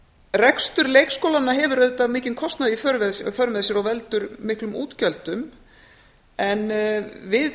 rekstur leikskólanna hefur auðvitað mikinn kostnað í för með sér og veldur miklum útgjöldum en við